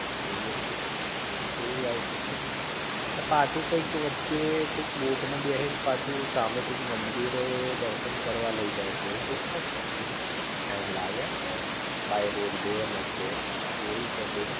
એવું હોય છે તઈ, તે પાછું કઈક વચ્ચે કઈક બોટ માં બેહી ને પાછું સામે કઈક મંદિરે દર્શન કરવા લઈ જાઇ છે એવું કઈક છે ને તઈ ટાઇમ લાગ હ બાય રોડ જાઇ એ ને તો